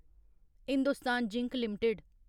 Hindustan Zinc limited